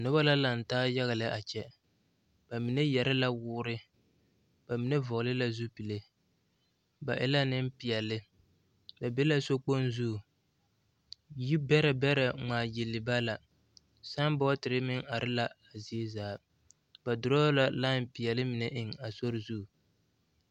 Noba la a lantaa yaɡa lɛ a kyɛ ba mine yɛre la woori ba mine vɔɔle la zupile ba e la nempeɛle ba be la sokpoŋ zu yibɛrɛbɛrɛ ŋmaaɡyili ba la sããbɔɔtere meŋ are la zie zaa ba durɔɔ la lai peɛle mine eŋ a sori zu.